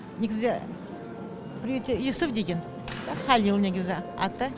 негізі приютте юсуф деген халил негізі аты